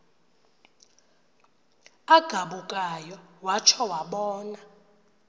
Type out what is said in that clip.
agabukayo watsho wabona